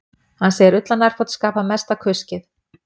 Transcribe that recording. Hann segir ullarnærföt skapa mesta kuskið